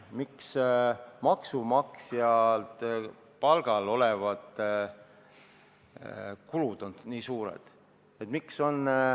Miks on kulutused maksumaksja palgal olevatele töötajatele nii suured?